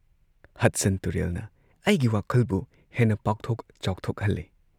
Hudson ꯇꯨꯔꯦꯜꯅ ꯑꯩꯒꯤ ꯋꯥꯈꯜꯕꯨ ꯍꯦꯟꯅ ꯄꯥꯛꯊꯣꯛ ꯆꯥꯎꯊꯣꯛꯍꯜꯂꯦ ꯫